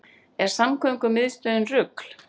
Er samgöngumiðstöðin rugl